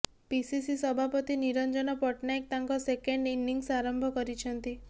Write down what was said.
PCC ସଭାପତି ନିରଞ୍ଜନ ପଟ୍ଟନାୟକ ତାଙ୍କ second innings ଆରମ୍ଭ କରିଛନ୍ତି